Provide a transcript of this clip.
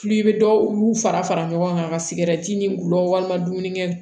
i bɛ dɔw fara fara ɲɔgɔn kan ka sigɛriti min gulɔ walima dumuni kɛ